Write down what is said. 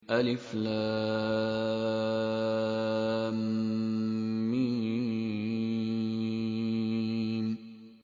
الم